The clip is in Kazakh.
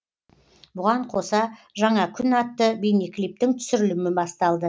бұған қоса жаңа күн атты бейнеклиптің түсірілімі басталды